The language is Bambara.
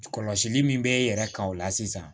Kɔlɔsili min bɛ e yɛrɛ kan o la sisan